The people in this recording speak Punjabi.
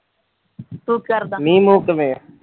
ਤੂੰ ਕੀ ਕਰਦਾ ਮੀਂਹ ਮੂੰਹ ਕਿਵੇਂ ਐ?